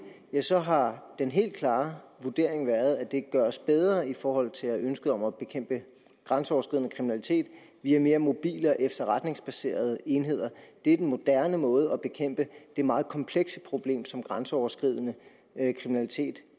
så har den helt klare vurdering været at det gøres bedre i forhold til ønsket om at bekæmpe grænseoverskridende kriminalitet via mere mobile og efterretningsbaserede enheder det er den moderne måde at bekæmpe det meget komplekse problem på som grænseoverskridende kriminalitet